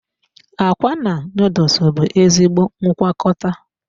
Akwa na noodles bụ ezigbo ngwakọta.